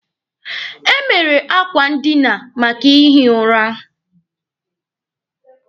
E mere akwa ndina maka ihi ụra.